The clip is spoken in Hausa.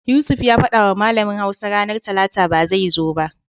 Yusuf ya fadawa malamin Hausa ranar Talata ba zai zo ba.